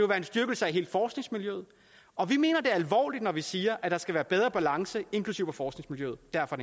være en styrkelse af hele forskningsmiljøet og vi mener det alvorligt når vi siger at der skal være bedre balance inklusive i forskningsmiljøet derfor